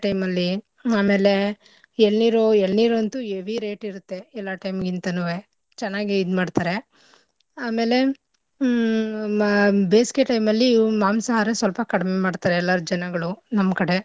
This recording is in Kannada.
Time ಅಲ್ಲಿ ಆಮೇಲೆ ಎಳ್ನೀರು ಎಳ್ನೀರ್ ಅಂತೂ heavy rate ಇರುತ್ತೆ ಎಲ್ಲಾ time ಗಿಂತನೂವೆ ಚೆನ್ನಾಗಿ ಇದ್ಮಾಡ್ತರೆ. ಆಮೇಲೆ ಹ್ಮ್ ಮ~ ಬೇಸ್ಗೆ time ಅಲ್ಲಿ ಇವ್ ಮಾಂಸಾಹಾರ ಸ್ವಲ್ಪ ಕಡಿಮೆ ಮಾಡ್ತರೆ ಎಲ್ಲರೂ ಜನಗಳು ನಮ್ ಕಡೆ.